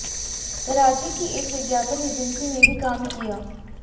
कराची की एक विज्ञापन एजेंसी में भी काम किया